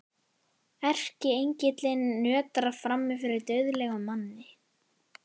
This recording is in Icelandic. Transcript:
Erkiengillinn nötrar frammi fyrir dauðlegum manni.